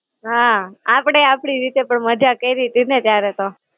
હાં. આપડે આપડી રીતે પણ મજા કયરીતી ને ત્યારે તો.